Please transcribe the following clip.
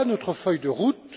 Voilà notre feuille de route.